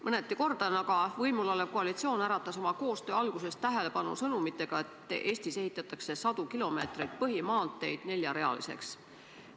Mõneti kordan, aga võimulolev koalitsioon äratas oma koostöö alguses tähelepanu sõnumitega, et Eestis ehitatakse sadu kilomeetreid põhimaanteid neljarealiseks.